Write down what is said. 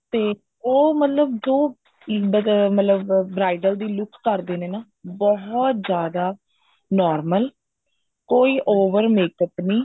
ਤੇ ਉਹ ਮਤਲਬ ਦੋ ਮਤਲਬ bridal ਦੀ look ਕਰਦੇ ਨੇ ਬਹੁਤ ਜਿਆਦਾ normal ਕੋਈ over makeup ਨਹੀਂ